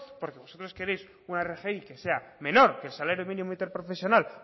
porque vosotros queréis una rgi que sea menos que el salario mínimo interprofesional